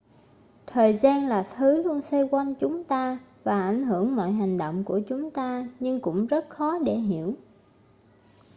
thời gian là thứ luôn xoay quanh chúng ta và ảnh hưởng mọi hành động của chúng ta nhưng cũng rất khó để hiểu